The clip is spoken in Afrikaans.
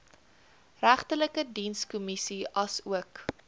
regterlike dienskommissie asook